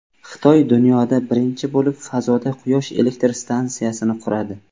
Xitoy dunyoda birinchi bo‘lib fazoda Quyosh elektr stansiyasini quradi.